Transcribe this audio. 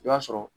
I b'a sɔrɔ